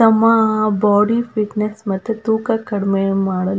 ತಮ್ಮ ಆ body fitness ಮತ್ತು ತೂಕ ಕಡಿಮೆ ಮಾಡಲು.